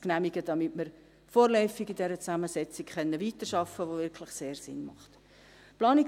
genehmigen, damit wir vorläufig in dieser Zusammensetzung, die wirklich sehr Sinn macht, weiterarbeiten können.